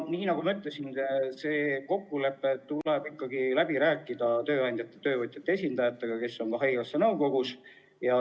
Nii nagu ma ütlesin, tuleb see kokkulepe ikkagi läbi rääkida tööandjate-töövõtjate esindajatega, kes on ka haigekassa nõukogus.